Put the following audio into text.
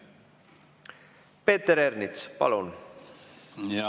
Peeter Ernits, palun!